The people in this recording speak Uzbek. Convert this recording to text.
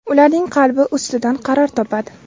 ularning qalbi ustidan qaror topadi.